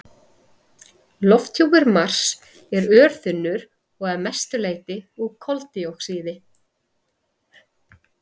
Lofthjúpur Mars er örþunnur og að mestu leyti úr koldíoxíði.